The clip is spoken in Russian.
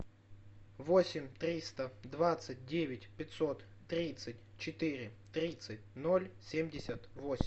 восемь триста двадцать девять пятьсот тридцать четыре тридцать ноль семьдесят восемь